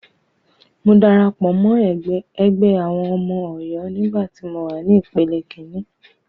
Mo darapọ̀ mọ́ ẹgbẹ́ àwọn ọmọ Ọ̀yọ́ nígbà tí mọ wà ní ìpele kíní.